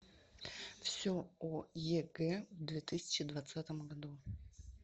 все о егэ в две тысячи двадцатом году